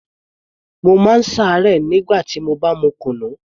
Mo má ń ṣe àárẹ̀ nígbà tí mo bá mu kunu